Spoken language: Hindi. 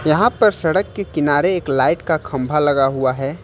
यहाँ पर सड़क के किनारे एक लाइट का खंभा लगा हुआ है।